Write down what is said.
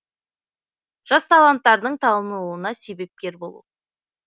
жас таланттардың танылуына себепкер болу